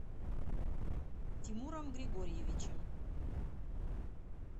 тимуром григорьевичем